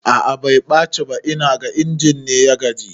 A'a bai ɓaci ba, inaga injin ne ya gaji